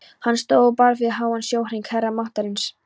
Hann stóð og bar við háan sjónhring, herra máttarins.